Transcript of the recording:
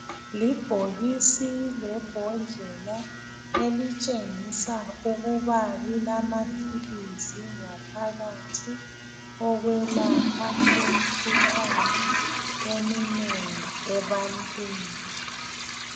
Libhokisi lebhodlela elitshengisa ukuba lilamaphilisi ngaphakathi okwelapha imikhuhlane eminengi ebantwini